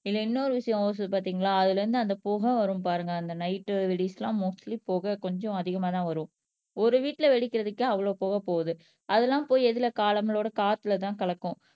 இதுல இன்னொரு விஷயம் பார்த்தீங்களா அதிலே இருந்து அந்த புகை வரும் பாருங்க அந்த நயிட் வெடிஸ் எல்லாம் மொஸ்டலி புகை கொஞ்சம் அதிகமாதான் வரும் ஒரு வீட்ல வெடிக்கிறதுக்கே அவ்வளவு போக போகுது அதெல்லாம் போய் எதுல நம்மளோட காத்துலதான் கலக்கும்